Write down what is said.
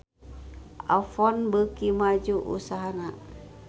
Avon beuki maju usahana